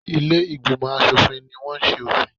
Ilé-ìgbìmọ̀ aṣòfin ní wọ́n ṣe òfin.